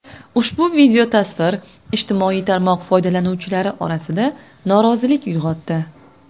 Ushbu videotasvir ijtimoiy tarmoq foydalanuvchilari orasida norozilik uyg‘otdi.